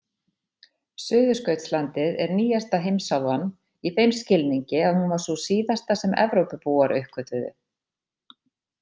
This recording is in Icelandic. Suðurskautslandið er nýjasta heimsálfan í þeim skilningi að hún var sú síðasta sem Evrópubúar uppgötvuðu.